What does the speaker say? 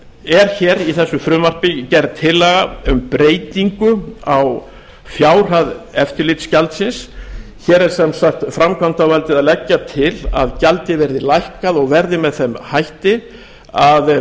er hér í þessu frumvarpi gerð tillaga um breytingu á fjárhæð eftirlitsgjaldsins hér er sem sagt framkvæmdarvaldið að leggja til að gjaldið verði lækkað og verði með þeim hætti að